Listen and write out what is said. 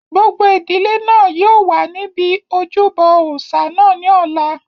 Gbogbo ìdílé náà yóò wà níbi ojúbọ òòsà náà ní ọ̀la